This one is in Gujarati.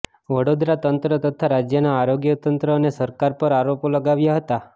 વડોદરા તંત્ર તથા રાજ્યનાં આરોગ્ય તંત્ર અને સરકાર પર આરોપો લગાવ્યા હતા